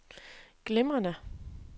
glimrende